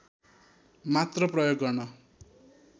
मात्र प्रयोग गर्न